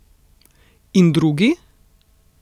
In drugi?